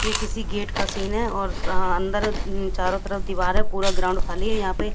ये किसी गेट का सीन है और अ अंदर चारों तरफ दीवार है पूरा ग्राउंड खाली है यहां पे।